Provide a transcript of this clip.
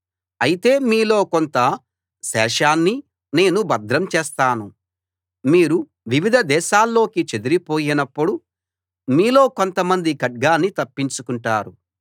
అయితే మీలో కొంత శేషాన్ని నేను భద్రం చేస్తాను మీరు వివిధ దేశాల్లోకి చెదరిపోయినప్పుడు మీలో కొంతమంది ఖడ్గాన్ని తప్పించుకుంటారు